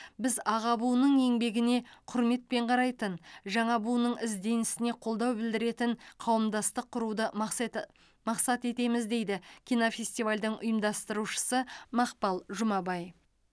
біз аға буынның еңбегіне құрметпен қарайтын жаңа буынның ізденісіне қолдау білдіретін қауымдастық құруды мақсет мақсат етеміз дейді кинофестивальдің ұйымдастырушысы мақпал жұмабай